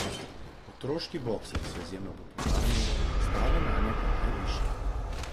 Otroški boksarji so izjemno popularni, stave nanje pa najvišje.